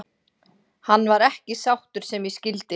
Hann var ekki sáttur sem ég skildi.